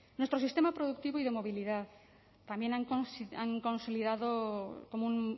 nuestro sistema productivo y de movilidad también han consolidado como un